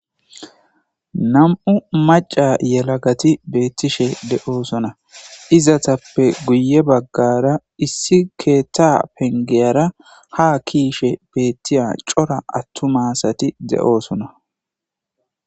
Nam'u maca yelagati beettishe de'oosona izatappe guye baggara issi keeta pengeyara ha kiishe beettiya cora attu maasati de'oosona